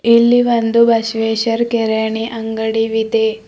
ಇಲ್ಲಿ ಒಂದು ಬಸವೇಶ್ವರ್ ಕಿರಾಣಿ ಅಂಗಡಿ ವಿದೆ.